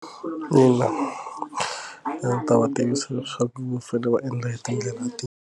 Ina, a ndzi ta va tivisa leswaku va fanele va endla hi tindlela tihi.